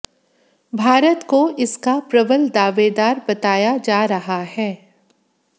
भारत को इसका प्रबल दावेदार बताया जा रहा है